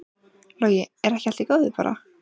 Logi: Er ekki allt í góðu bara?